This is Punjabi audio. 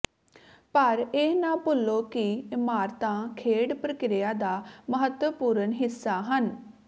ਪਰ ਇਹ ਨਾ ਭੁੱਲੋ ਕਿ ਇਮਾਰਤਾਂ ਖੇਡ ਪ੍ਰਕਿਰਿਆ ਦਾ ਮਹੱਤਵਪੂਰਣ ਹਿੱਸਾ ਹਨ